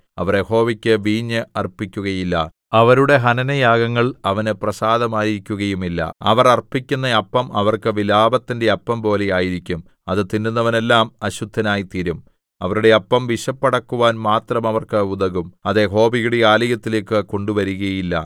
അവർ യഹോവയ്ക്ക് വീഞ്ഞ് അർപ്പിക്കുകയില്ല അവരുടെ ഹനനയാഗങ്ങൾ അവന് പ്രസാദമായിരിക്കുകയുമില്ല അവർ അർപ്പിക്കുന്ന അപ്പം അവർക്ക് വിലാപത്തിന്റെ അപ്പം പോലെ ആയിരിക്കും അത് തിന്നുന്നവനെല്ലാം അശുദ്ധനായിത്തീരും അവരുടെ അപ്പം വിശപ്പടക്കുവാൻ മാത്രം അവർക്ക് ഉതകും അത് യഹോവയുടെ ആലയത്തിലേക്ക് കൊണ്ടുവരുകയില്ല